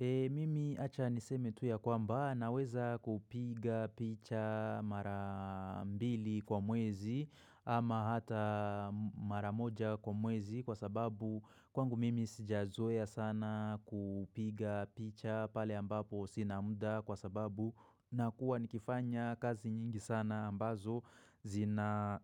Mimi achaniseme tu ya kwamba naweza kupiga picha marambili kwa mwezi ama hata maramoja kwa mwezi kwa sababu kwangu mimi sijazoya sana kupiga picha pale ambapo sinamda kwa sababu na kuwa nikifanya kazi nyingi sana ambazo zina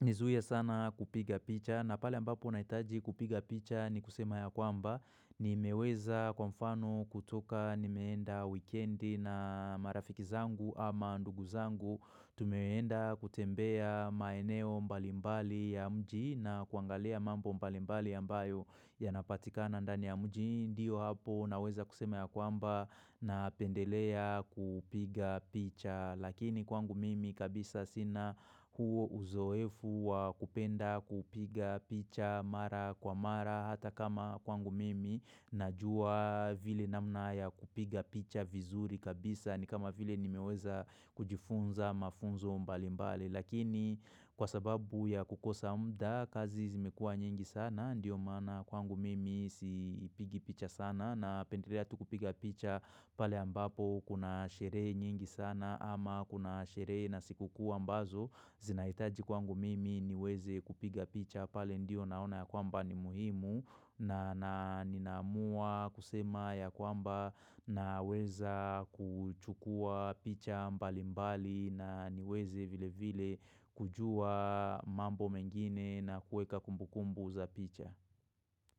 nizuiya sana kupiga picha na pale ambapo naitaji kupiga picha ni kusema ya kwamba ni meweza kwa mfano kutoka ni meenda weekendi na marafiki zangu ama ndugu zangu Tumeweenda kutembea maeneo mbalimbali ya mji na kuangalia mambo mbalimbali ambayo Yanapatika na ndani ya mji ndio hapo na weza kusema ya kwamba na pendelea kupiga picha Lakini kwangu mimi kabisa sina huo uzoefu wa kupenda kupiga picha mara kwa mara hata kama kwangu mimi najua vile namna ya kupiga picha vizuri kabisa ni kama vile ni meweza kujifunza mafunzo mbali mbali lakini kwa sababu ya kukosa mda kazi zimekua nyingi sana ndiyo mana kwangu mimi sipigi picha sana na pendelea tu kupiga picha pale ambapo kuna shere nyingi sana ama kuna sherehe na siku kuu ambazo zinaitaji kwangu mimi niweze kupiga picha pale ndio naona ya kwamba ni muhimu na ninaamua kusema ya kwamba na weza kuchukua picha mbali mbali na niweze vile vile kujua mambo mengine na kueka kumbu kumbu za picha.